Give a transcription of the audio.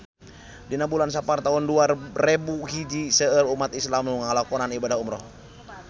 Dina bulan Sapar taun dua rebu hiji seueur umat islam nu ngalakonan ibadah umrah